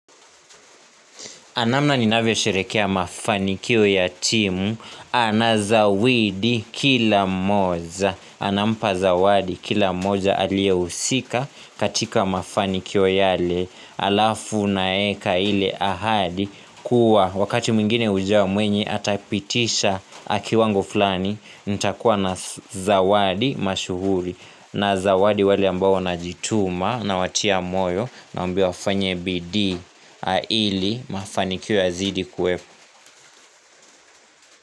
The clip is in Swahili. Namna ninavyo sherekea mafanikio ya timu anazawidi kila moja Anampa zawadi kila moa alie usika katika mafanikio yale alafu naeka ile ahadi kuwa wakati mwingine ujao mwenye atapitisha kiwango flani nita kuwa na zawadi mashuhuri na zawadi wali ambao na jituma na watia moyo na mbio fanye bidii ili mafanikio yazidi kuwepo.